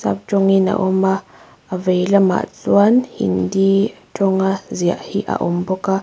sap tawngin a awm a a vei lamah chuan hindi tawnga ziah hi a awm bawk a.